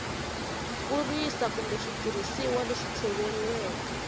kurisa kumbe switirhisiwa leswi tshoveriweke